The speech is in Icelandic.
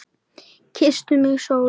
Kyssti mig sól.